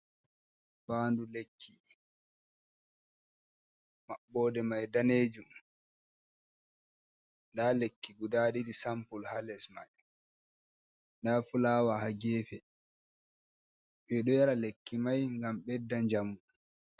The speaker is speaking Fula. Fandu lekki maɓɓode mai danejum nda lekki guda ɗiɗi sanpole ha les mai, nda fulawa ha gefe ɓeɗo yara lekki mai gam ɓedda jamu.